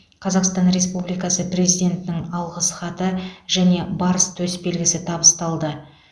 қазақстан республдикасы президентінің алғыс хаты және барыс төсбелгісі табысталды